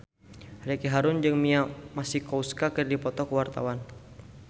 Ricky Harun jeung Mia Masikowska keur dipoto ku wartawan